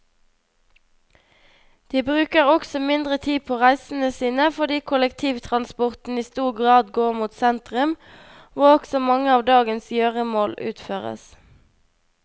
De bruker også mindre tid på reisene sine fordi kollektivtransporten i stor grad går mot sentrum, hvor også mange av dagens gjøremål utføres.